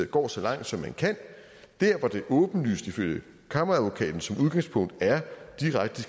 går så langt som man kan der hvor det åbenlyst ifølge kammeradvokaten som udgangspunkt er direkte